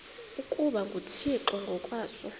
ukuba nguthixo ngokwaso